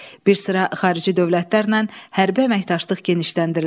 Bir sıra xarici dövlətlərlə hərbi əməkdaşlıq genişləndirildi.